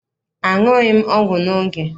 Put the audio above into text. Aṅughị m ọgwụ m n'oge.